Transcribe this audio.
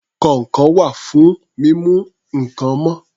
Kọ̀ǹkọ̀ wà fún mímú nǹkan mọ́